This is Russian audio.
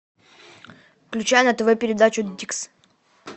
включай на тв передачу дикс